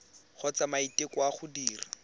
kgotsa maiteko a go dira